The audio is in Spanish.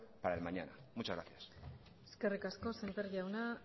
para el mañana muchas gracias eskerrik asko sémper jauna